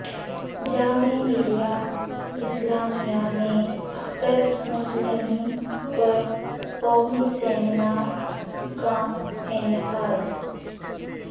جامعہ ملیہ اسلامیہ میں اختر مسلمی پر قومی سیمینار کا انعقاد